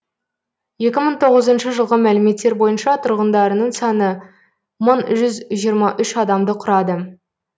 екі мың тоғызыншы жылғы мәліметтер бойынша тұрғындарының саны мың жүз жиырма үш адамды құрады